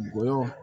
Ngɔyɔ